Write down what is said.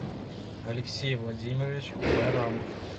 алексей владимирович байрамов